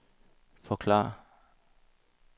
forklare